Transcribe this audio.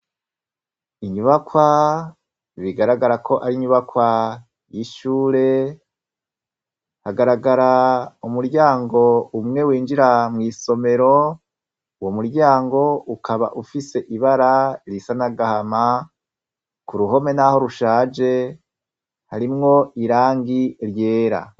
Inyubakwa, bigaragara ko arinyubakwa y’ishure, hagaragara umuryango umwe winjira mw’isomero, Uwo muryango ukaba ufise ibara risa n’agahama , kuruhome naho rushaje , harimwo irangi ryera.